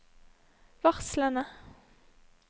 varslene